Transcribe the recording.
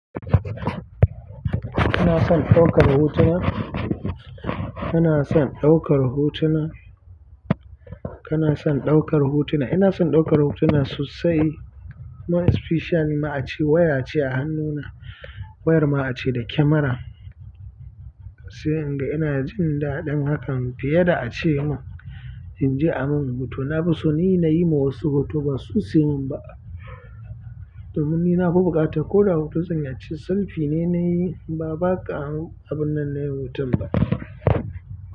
Kana son ɗaukar hotuna? Kana son ɗaukar hotuna? Kana son ɗaukar hotuna? Ina son ɗaukar hotuna sosai. More especial ma ace waya ce a hannuna, wayar ma ace da kyamara. Sai inga inajin daɗin hakan, fiye da ace man inje ayi man photo na fi so ni na yi ma wasu hoto ba su yi min ba. Domin ni nafi buƙata ko da hoto zanyi a ciki selfie ne na yi ba, ba ka abun nan na yin hoton ba.